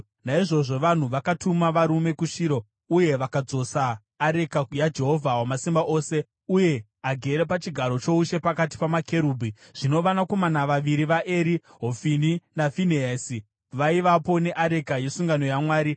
Naizvozvo vanhu vakatuma varume kuShiro, uye vakadzosa areka yaJehovha Wamasimba Ose uye agere pachigaro choushe pakati pamakerubhi. Zvino vanakomana vaviri vaEri, Hofini naFinehasi, vaivapo neareka yesungano yaMwari.